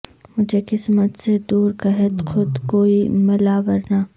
مجھے قسمت سے دور قحط خود گوئی ملا ورنہ